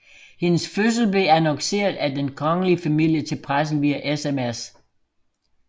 Hendes fødsel blev annonceret af den kongelige familie til pressen via SMS